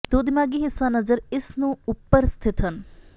ਦੋ ਿਦਮਾਗ਼ੀ ਹਿੱਸਾ ਨਜਰ ਇਸ ਨੂੰ ਉਪਰ ਸਥਿਤ ਹਨ